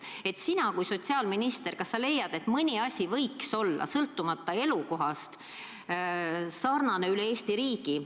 Kas sina kui endine sotsiaalminister, leiad, et mõni asi võiks olla elukohast sõltumata sarnane üle Eesti?